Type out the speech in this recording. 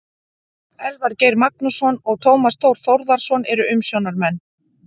Elvar Geir Magnússon og Tómas Þór Þórðarson eru umsjónarmenn.